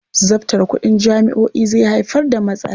Zabtare kuɗin jami'o'i zai haifar da matsala.